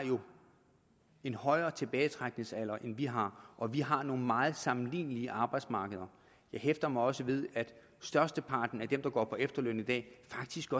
en højere tilbagetrækningsalder end vi har og vi har nogle meget sammenlignelige arbejdsmarkeder jeg hæfter mig også ved at størsteparten af dem der går på efterløn i dag faktisk